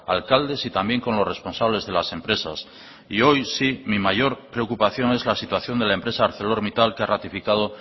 alcaldes y también con los responsables de las empresas y hoy sí mi mayor preocupación es la situación de la empresa arcelormittal que ha ratificada